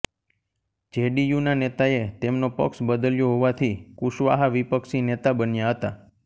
જે D U ના નેતાએ તેમનો પક્ષ બદલ્યો હોવાથી કુશવાહા વિપક્ષી નેતા બન્યા હતા